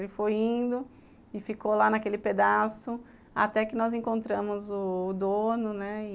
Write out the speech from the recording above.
Ele foi indo e ficou lá naquele pedaço, até que nós encontramos o dono, né?